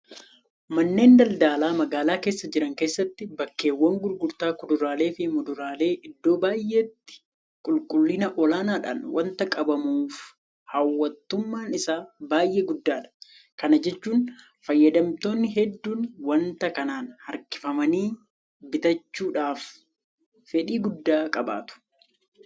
Manneen daldalaa magaalaa keessa jiran keessatti bakkeewwan gurgurtaa kuduraaleefi Muduraalee iddoo baay'eetti qulqullina olaanaadhaan waanta qabamuuf hawwattummaan isaa baay'ee guddaadha. Kana jechuun fayyadamtoonni hedduun waanta kanaan harkifamanii bitachuudhaaf fedhii guddaa qabaatu.